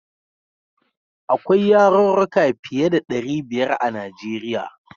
Akwai yarurruka fiye da ɗari biyar a Nijeriya.